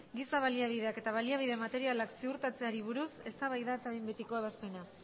giza baliabideak eta baliabide materialak ziurtatzeari buruz eztabaida eta behin betiko ebazpena